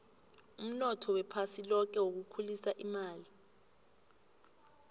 umnotho wephasi loke wokukhulisa imali